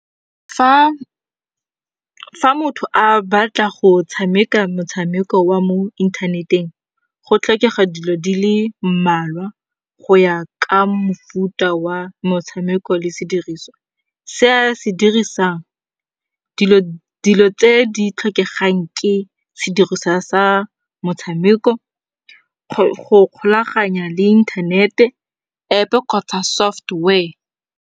Fa motho a batla go tshameka motshameko wa mo inthaneteng, go tlhokega dilo di le mmalwa go ya ka mofuta wa motshameko le sediriswa se a se dirisang. Dilo tse di tlhokegang ke sediriswa sa motshameko, go kgolaganya le inthanete, App-e kgotsa software.